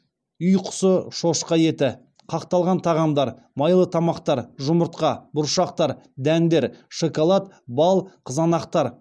үй құсы шошқа еті қақталған тағамдар майлы тамақтар жұмыртқа бұршақтар дәндер шоколад бал қызанақтар